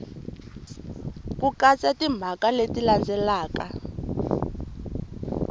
ku katsa timhaka leti landzelaka